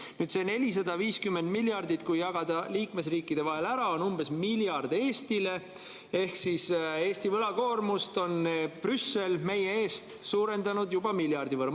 Kui jagada see 450 miljardit liikmesriikide vahel ära, on umbes miljard Eestile ehk Brüssel on suurendanud meie eest Eesti võlakoormust juba miljardi võrra.